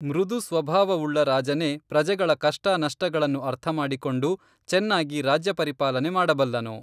ಮೃದು ಸ್ವಭಾವವುಳ್ಳ ರಾಜನೇ ಪ್ರಜೆಗಳ ಕಷ್ಟ ನಷ್ಟಗಳನ್ನು ಅರ್ಥಮಾಡಿಕೊಂಡು ಚನ್ನಾಗಿ ರಾಜ್ಯ ಪರಿಪಾಲನೆ ಮಾಡಬಲ್ಲನು